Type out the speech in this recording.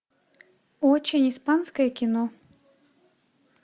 очень испанское кино